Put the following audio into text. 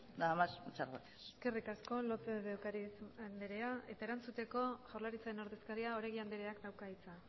nada más muchas gracias eskerrik asko lópez de ocariz andrea eta erantzuteko jaurlaritzaren ordezkaria oregi andreak dauka hitza